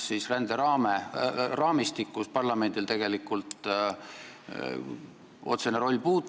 Ränderaamistiku teemal parlamendil tegelikult otsene roll puudub.